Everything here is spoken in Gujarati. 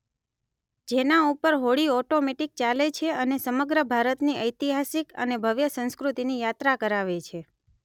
જેના ઉપર હોડી ઓટોમેટિક ચાલે છે અને સમગ્ર ભારત ની ઐતિહાસિક અને ભવ્ય સંસ્કૃતિની યાત્રા કરાવે છે